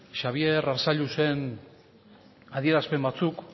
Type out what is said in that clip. xabier arzalluzen adierazpen batzuk